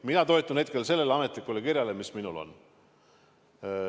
Mina toetun hetkel sellele ametlikule kirjale, mis minul on.